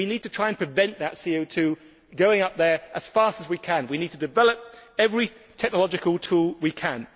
We need to try and prevent that CO 2 going up there as fast as we can. We need to develop every technological tool we can.